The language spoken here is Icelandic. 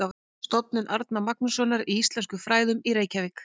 Stofnun Árna Magnússonar í íslenskum fræðum í Reykjavík.